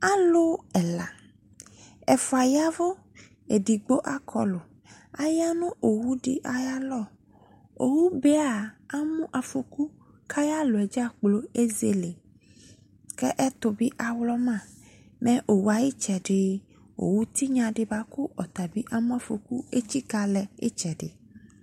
Alu ɛla, ɛfua yavu, edigbo akɔlu, aya no owu de ayalɔ Owube aa, amo afɔku ko ayalɔ dzakplo ezele, ko ɛto be awlɔma, mɛ owu tenya de boajo ɔta be amo afɔku etsika lɛ etsɛde